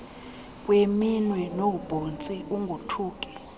kweminwe noobhontsi ungothuki